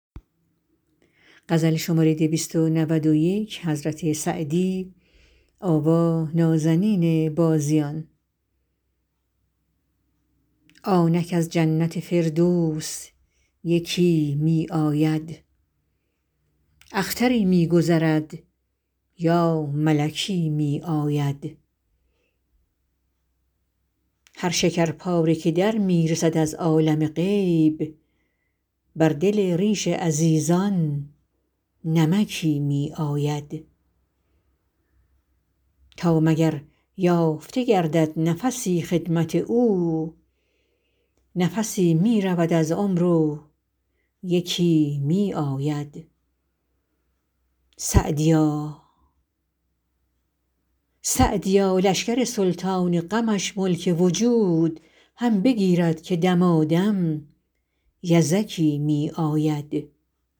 آنک از جنت فردوس یکی می آید اختری می گذرد یا ملکی می آید هر شکرپاره که در می رسد از عالم غیب بر دل ریش عزیزان نمکی می آید تا مگر یافته گردد نفسی خدمت او نفسی می رود از عمر و یکی می آید سعدیا لشکر سلطان غمش ملک وجود هم بگیرد که دمادم یزکی می آید